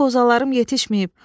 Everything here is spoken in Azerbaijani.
Heç qozalarım yetişməyib.